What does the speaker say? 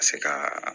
Ka se ka